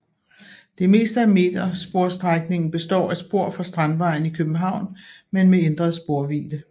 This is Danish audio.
Det meste af metersporsstrækningen består af spor fra Strandvejen i København men med ændret sporvidde